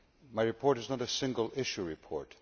My report is not a single issue report